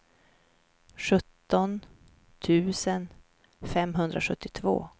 sjutton tusen femhundrasjuttiotvå